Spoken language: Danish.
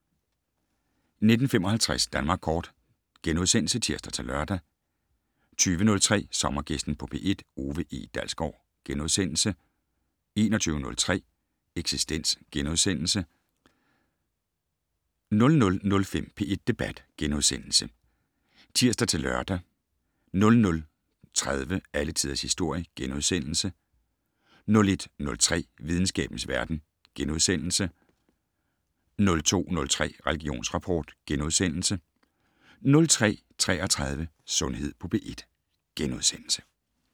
19:55: Danmark Kort *(tir-lør) 20:03: Sommergæsten på P1: Ove E. Dalsgaard * 21:03: Eksistens * 00:05: P1 Debat *(tir-lør) 00:30: Alle Tiders Historie * 01:03: Videnskabens verden * 02:03: Religionsrapport * 02:33: Sundhed på P1 *